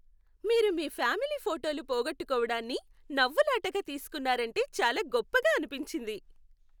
మీరు మీ ఫ్యామిలీ ఫోటోలు పోగొట్టుకోవడాన్ని, నవ్వులాటగా తీసుకున్నారంటే చాలా గొప్పగా అనిపించింది.